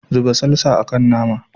Zuba salsa a kan nama.